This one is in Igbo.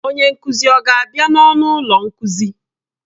Onye nkuzi ọ ga-abịa n'ọnụ ụlọ nkuzi?